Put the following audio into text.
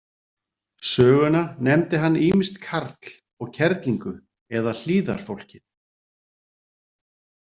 Söguna nefndi hann ýmist Karl og kerlingu eða Hlíðarfólkið.